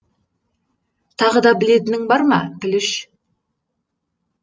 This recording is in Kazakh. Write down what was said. тағы да білетінің бар ма пүліш